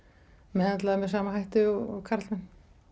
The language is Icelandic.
meðhöndlaðar með sama hætti og karlmenn